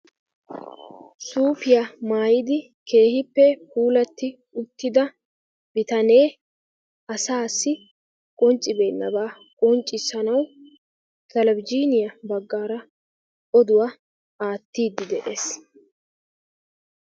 suupiya maayidi keehippe puulatidi uttida bitanee asaassi qonccibenaba qonccisanawu asaassi qonccibeenaba aatiidi de'ees.